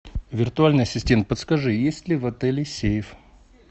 виртуальный ассистент подскажи есть ли в отеле сейф